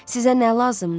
Sizə nə lazımdır?